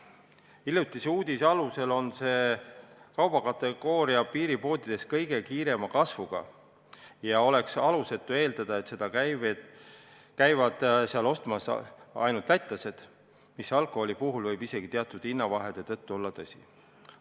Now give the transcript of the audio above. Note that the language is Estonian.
Hiljuti avaldati uudis, et see kaubakategooria on piiripoodides kõige kiirema kasvuga ja oleks alusetu eeldada, et seda käivad seal ostmas ainult Läti elanikud, mis alkoholi puhul võib teatud hinnavahede tõttu isegi tõsi olla.